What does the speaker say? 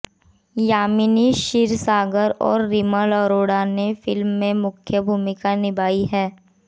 यामिनी शिरसागर और रिमल अरोड़ा ने फिल्म में मुख्य भूमिका निभाई है